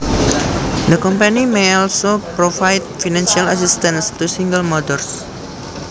The company may also provide financial assistance to single mothers